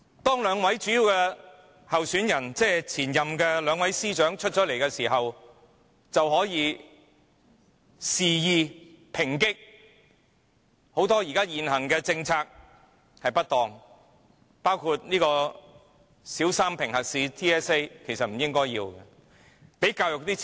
當兩位主要參選人即兩位前任司長宣布參選後，便可肆意抨擊現行很多政策的不當，包括應取消小三評核試，而對教育則應增加撥款。